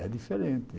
É diferente.